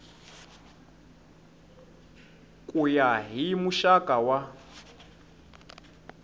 ku ya hi muxaka wa